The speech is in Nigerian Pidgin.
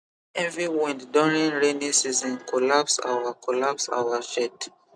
heavy wind during rainy season collapse our collapse our shed